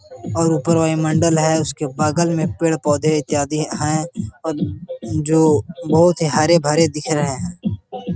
और ऊपर वायुमंडल है उसके बगल में पेड़-पौधे इत्यादि हैं और जो बोहुत ही हरे-भरे दिख रहे हैं।